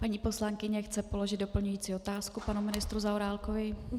Paní poslankyně chce položit doplňující otázku panu ministru Zaorálkovi.